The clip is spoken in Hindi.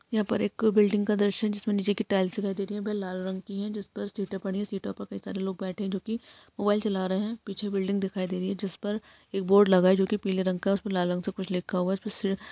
यहा पर एक बिल्डिंग का दर्शन जहाँ पर टाइल्स दिखाई दे रही है वे लाल रंग की है जिसपर सीटे है सीटो पर कई सारे लोग बैठे जो की मोबाईल चला रहे है पीछे बिल्डिंग दिखाई दे रही है जिसपर एक बोर्ड लगा है जो की पीले रंग का है उसपे लाल रंग का कुछ लिखा हुआ है। उसमें सिर्फ--